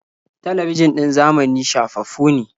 Talabijin ɗin zamani shafaffu ne.